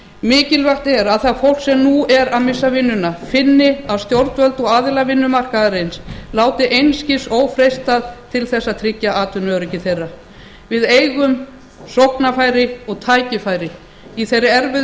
mikilvægt er að það fólk sem nú er að missa vinnuna finni að stjórnvöld og aðilar vinnumarkaðarins láti einskis ófreistað til að tryggja atvinnuöryggi þeirra við eigum sóknarfæri og tækifæri í þeirri erfiðu